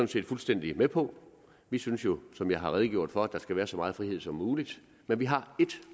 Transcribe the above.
set fuldstændig med på vi synes jo som jeg har redegjort for at der skal være så meget frihed som muligt men vi har ét